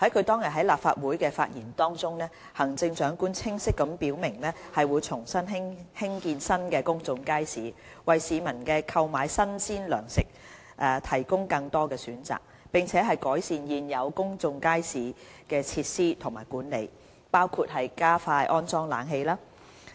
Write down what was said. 當日在立法會的發言中，行政長官清晰表明會重新興建新的公眾街市，為市民購買新鮮糧食提供更多選擇，並改善現有公眾街市的設施和管理，包括加快安裝冷氣。